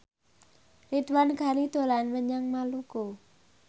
Ridwan Ghani dolan menyang Maluku